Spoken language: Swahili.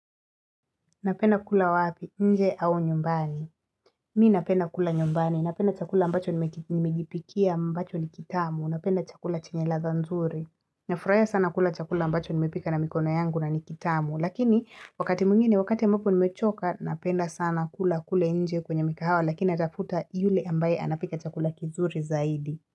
Napenda kula wapi, nje au nyumbani. Mi napenda kula nyumbani. Napenda chakula ambacho nimejipikia ambacho ni kitamu. Napenda chakula chenye ladha nzuri. Nafurahia sana kula chakula ambacho nimepika na mikono yangu na ni kitamu. Lakini, wakati mwingine, wakati ambapo nimechoka, napenda sana kula kule nje kwenye mikahawa lakini atafuta yule ambaye anapika chakula kizuri zaidi.